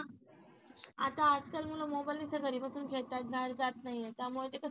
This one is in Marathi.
आता आजकाल मुलं मोबाईल नुसतं घरी बसून खेळतात बाहेर जात नाहीये त्यामुळे ते कसं